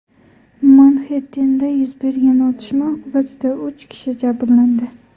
Manxettenda yuz bergan otishma oqibatida uch kishi jabrlandi.